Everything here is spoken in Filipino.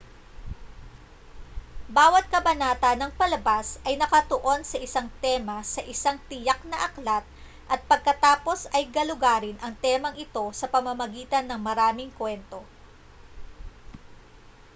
bawat kabanata ng palabas ay nakatuon sa isang tema sa isang tiyak na aklat at pagkatapos ay galugarin ang temang ito sa pamamagitan ng maraming kuwento